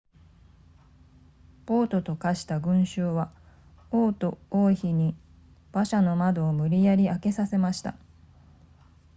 暴徒と化した群衆は王と王妃に馬車の窓を無理やり開けさせました